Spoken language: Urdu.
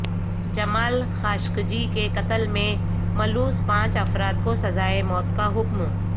جمال خاشقجی کے قتل میں ملوث پانچ افراد کو سزائے موت کا حکم